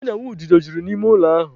Ọnyanwududo juru n'ime ụlọ ahụ.